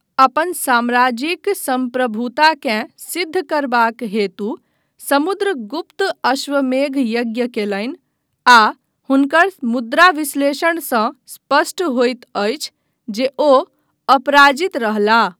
अपन साम्राज्यिक सम्प्रभुताकेँ सिद्ध करबाक हेतु समुद्रगुप्त अश्वमेध यज्ञ कयलनि आ हुनकर मुद्राक विश्लेषणसँ स्पष्ट होइत अछि जे ओ अपराजित रहलाह।